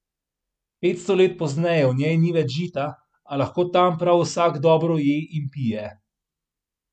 Petsto let pozneje v njej ni več žita, a lahko tam prav vsak dobro je in pije.